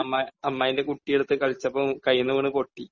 അമ്മായി, അമ്മായീന്റെ കുട്ടി എടുത്ത് കളിച്ചപ്പോൾ കയ്യിൽ നിന്ന് വീണ് പൊട്ടി.